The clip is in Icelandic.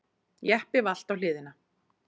Jeppi valt á hliðina